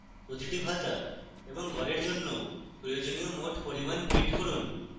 প্রতিটি ভাতা এবং গড়ের জন্য প্রয়োজনীয় মোট পরিমাণ print করুন